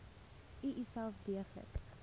u uself deeglik